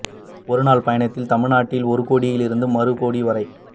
ஒரு நாள் பயணத்தில் தமிழ் நாட்டின் ஒரு கோடியிலிருந்து மறு கோடி வரை